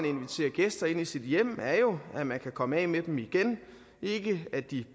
invitere gæster ind i sit hjem er jo at man kan komme af med dem igen ikke at de